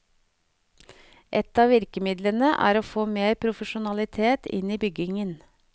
Et av virkemidlene er å få mer profesjonalitet inn i byggingen.